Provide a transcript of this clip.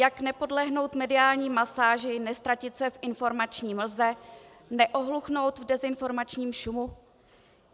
Jak nepodlehnout mediální masáži, neztratit se v informační mlze, neohluchnout v dezinformačním šumu?